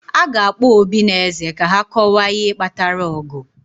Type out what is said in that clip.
a ga-akpọ obi na eze ka ha kọwaa ihe kpatara ọgụ